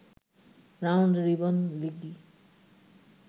round robin লিগই